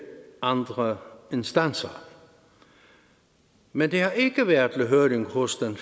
andre instanser men det har ikke været til høring hos den